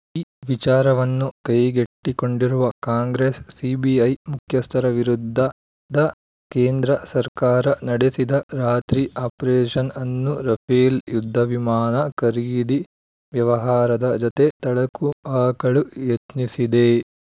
ಈ ವಿಚಾರವನ್ನು ಕೈಗೆತ್ತಿಕೊಂಡಿರುವ ಕಾಂಗ್ರೆಸ್‌ ಸಿಬಿಐ ಮುಖ್ಯಸ್ಥರ ವಿರುದ್ಧ ಕೇಂದ್ರ ಸರ್ಕಾರ ನಡೆಸಿದ ರಾತ್ರಿ ಆಪರೇಷನ್‌ ಅನ್ನು ರಫೇಲ್‌ ಯುದ್ಧ ವಿಮಾನ ಖರೀದಿ ವ್ಯವಹಾರದ ಜತೆ ತಳಕು ಹಾಕಲು ಯತ್ನಿಸಿದೆ